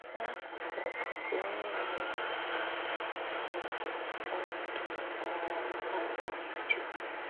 N’akụkụ̀ nke onyé na-aghọgbù aghọgbù, ònọdụ̀ um ahụ̀ dị̀ iche.